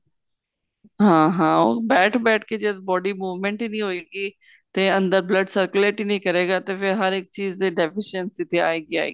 ਹਾਂ ਹਾਂ ਉਹ ਬੈਠ ਬੈਠ ਕੇ ਜਦ body movement ਹੀ ਨਹੀ ਹੋਏ ਗੀ ਤੇ ਅੰਦਰ blood circulate ਹੀ ਨਹੀਂ ਕਰੇ ਗਾ ਤੇ ਫੇਰ ਹਰ ਇੱਕ ਚੀਜ਼ ਤੇ deficiency ਤੇ ਆਏ ਗੀ ਆਏ ਗੀ